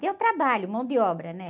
Deu trabalho, mão de obra, né?